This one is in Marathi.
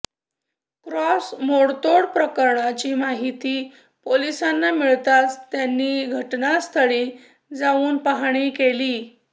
क्रॉस मोडतोड प्रकरणाची माहिती पोलिसांना मिळताच त्यांनी घटनास्थळी जाऊन पहाणी केली